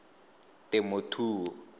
temothuo